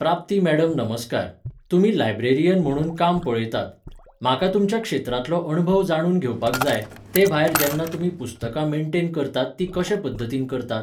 प्राप्ती मॅडम नमस्कार. तुमी लायब्रेरियन म्हणून काम पळयतात. म्हाका तुमच्या क्षेत्रांतलो अणभव जाणून घेवपाक जाय, ते भायर जेन्ना तुमी पुस्तकां मेंटेन करतात तीं कशे पद्धतीन करतात?